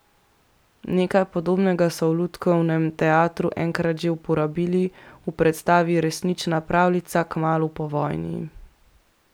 Nekaj podobnega so v lutkovnem teatru enkrat že uporabili, v predstavi Resnična pravljica, kmalu po vojni.